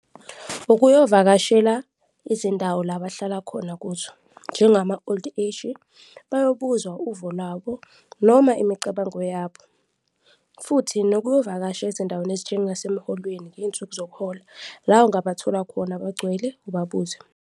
Ukuyovakashela izindawo la bahlala khona kuzo njengama-old age-i, bayobuzwa uvo lwabo noma imicabango yabo futhi nokuyovakasha ezindaweni ezinjengasemholweni ngey'nsuku zokuhola, la ungabathola khona begcwele ubabuze.